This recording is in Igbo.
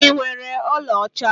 Ị nwere ọlaọcha?